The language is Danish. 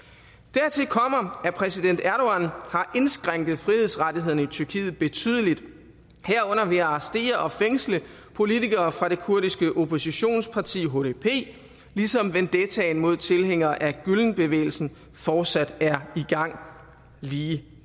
dertil kommer at præsident erdogan har indskrænket frihedsrettighederne i tyrkiet betydeligt herunder ved at arrestere og fængsle politikere fra det kurdiske oppositionsparti hdp ligesom vendettaen mod tilhængere af gülenbevægelsen fortsat er i gang lige